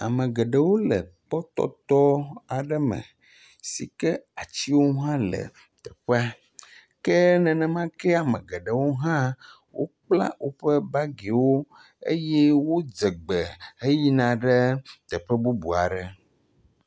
Ame geɖewo le kpɔtɔt aɖe me si ke atsiwo hã le teƒea ke nenema ke ame geɖewo hã wokpla woƒe bagiwo eye wodze gbe heyina ɖe teƒe bubu aɖe.